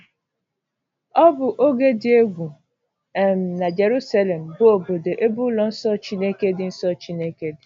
Ọ bụ oge dị egwu um na Jeruselem, bụ́ obodo ebe ụlọ nsọ Chineke dị. nsọ Chineke dị.